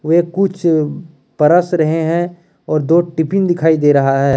वे कुछ परस रहे हैं और दो टिफिन दिखाई दे रहा है।